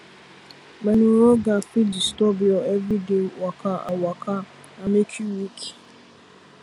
menorrhagia fit disturb your everyday waka and waka and make you weak